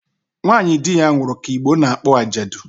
Nwanyị di ya nwụrụ ka Igbo na-akpọ ajadụ